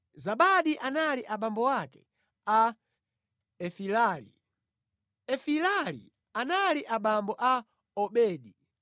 Zabadi anali abambo a Efilali, Efilali anali abambo a Obedi,